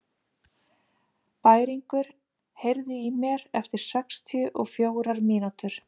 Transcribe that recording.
Bæringur, heyrðu í mér eftir sextíu og fjórar mínútur.